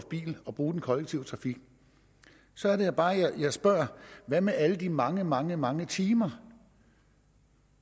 bil og bruge den kollektive trafik så er det bare jeg spørger hvad med alle de mange mange mange timer